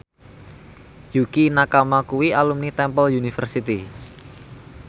Yukie Nakama kuwi alumni Temple University